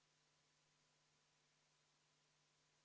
Tulemusega poolt 12, vastu 43, erapooletuid ei ole, ei leidnud ettepanek toetust.